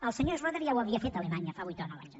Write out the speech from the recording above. el senyor schröder ja ho havia fet a alemanya fa vuit o nou anys